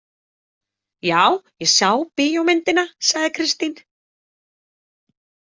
Já, ég sá bíómyndina, sagði Kristín.